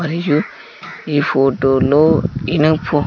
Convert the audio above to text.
మరియు ఈ ఫోటో లో ఇనం ఫో--